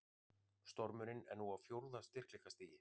Stormurinn er nú á fjórða styrkleikastigi